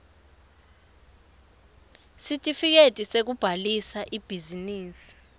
sitifiketi sekubhalisa ibhizinisi